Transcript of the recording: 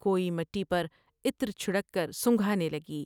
کوئی مٹی پر عطر چھڑک کر سنگھانے لگی ۔